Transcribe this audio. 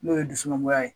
N'o ye dusumangoya ye